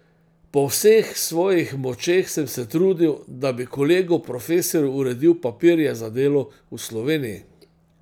Po vseh svojih močeh sem se trudil, da bi kolegu profesorju uredil papirje za delo v Sloveniji.